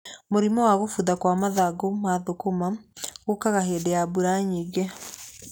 Mũrimũ wa gũbutha gwa mathangũ ma thũkũma gũkaga hĩndĩ ya mbura nyingĩ.